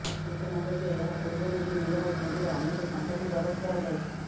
ସୂଚନାଯୋଗ୍ୟ ଏହା ପୂର୍ବରୁ ବି ନୀରବ ମୋଦିର ଅନେକ ସମ୍ପତ୍ତି ଜବତ କରାଯାଇଛି